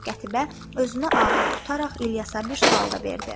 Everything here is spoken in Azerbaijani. Qətibə özünü ağır tutaraq İlyasa bir sual da verdi.